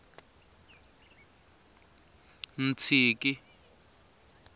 ntshiki